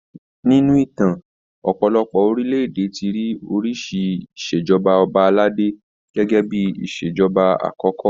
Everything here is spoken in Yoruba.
Nínú ìtàn, ọ̀pọ̀lọpọ̀ orílẹ̀-èdè ti rí oríṣi ìṣèjọba ọba aládé gẹgẹ bíi ìṣèjọba àkọ́kọ́